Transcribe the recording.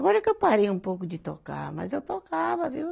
Agora que eu parei um pouco de tocar, mas eu tocava, viu?